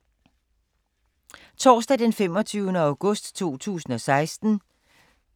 Torsdag d. 25. august 2016